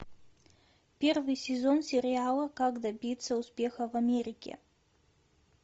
первый сезон сериала как добиться успеха в америке